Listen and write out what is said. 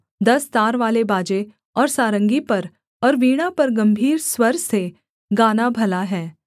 दस तारवाले बाजे और सारंगी पर और वीणा पर गम्भीर स्वर से गाना भला है